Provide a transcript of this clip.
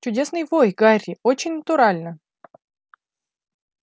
чудесный вой гарри очень натурально